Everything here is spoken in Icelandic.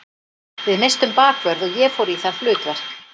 Við misstum bakvörð og ég fór í það hlutverk.